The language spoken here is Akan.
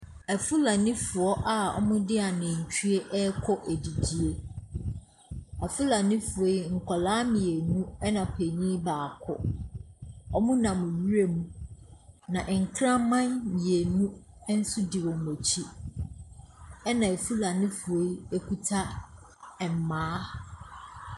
Afulanifoɔ a wɔde anantwie rekɔ adidie. Afulanifoɔ yi, nkwadaa mmienu na panin baako. Wɔnam wuram, na nkraman mmienu nso di wɔn akyi, ɛnna afulanifoɔ yi kuta mmaa.